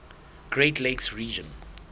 great lakes region